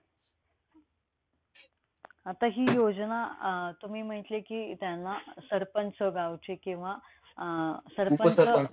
आता हि योजना अं तुम्ही म्हटले कि त्यांना सरपंच गावचे किंवा